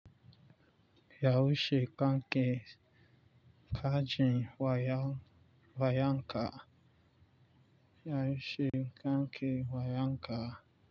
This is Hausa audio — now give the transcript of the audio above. Yaushe kanke kajin wayanka? Yaushe kanke wayanka?